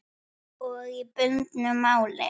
Og í bundnu máli